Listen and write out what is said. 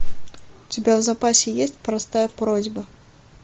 у тебя в запасе есть простая просьба